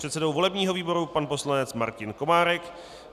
předsedou volebního výboru pan poslanec Martin Komárek,